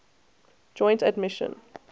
joint admission